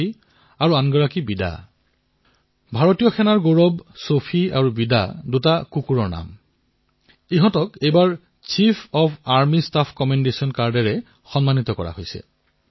সৌফী আৰু বিদা ভাৰতীয় সেনাবাহিনীৰ গৌৰৱ এনে কুকুৰ যাক chief of army staff commendation কাৰ্ডেৰে সন্মানিত কৰা হৈছে